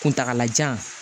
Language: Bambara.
Kuntagalajan